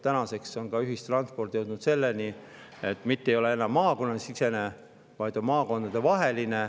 Tänaseks on ühistransport jõudnud selleni, et see ei ole enam mitte maakonnasisene, vaid maakondadevaheline.